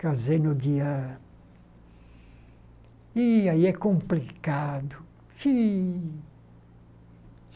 Casei no dia... Ih, aí é complicado. Ih